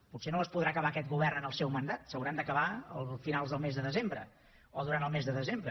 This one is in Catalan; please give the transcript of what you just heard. potser no les podrà acabar aquest govern en el seu mandat s’hauran d’acabar a finals del mes de desembre o durant el mes de desembre